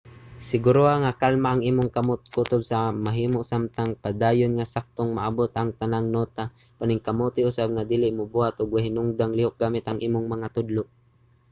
siguruha nga kalma ang imong kamot kutob sa mahimo samtang padayon nga saktong maabot ang tanang nota - paningkamuti usab nga dili mobuhat og way hinungdang lihok gamit ang imong mga tudlo